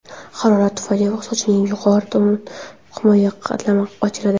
Harorat tufayli sochning yuqori himoya qatlami ochiladi.